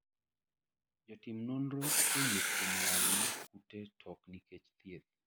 jotim nonro oyie kuom lal mar kute to ok nikech thieth